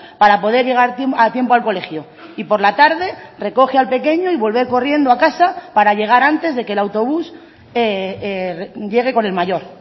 para poder llegar a tiempo al colegio y por la tarde recoge al pequeño y vuelve corriendo a casa para llegar antes de que el autobús llegue con el mayor